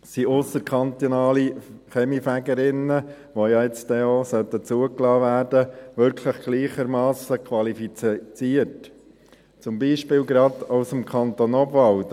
Sind ausserkantonale Kaminfegerinnen und Kaminfeger, die ja jetzt auch zugelassen werden sollen, wirklich gleichermassen qualifiziert, zum Beispiel gerade aus dem Kanton Obwalden?